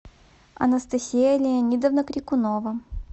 анастасия леонидовна крикунова